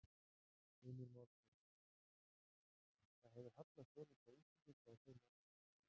Heimir Már Pétursson: Það hefur hallað svolítið á Íslendinga í þeim efnum?